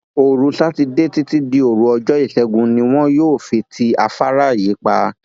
òru sátidé títí di òru ọjọ ìṣègùn ni wọn yóò fi ti afárá yìí pa